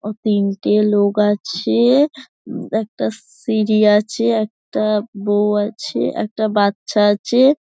অ তিনটে লোক আছে একটা সিঁড়ি আছে একটা বউ আছে একটা বাচ্চা আছে।